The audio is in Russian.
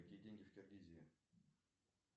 какие деньги в киргизии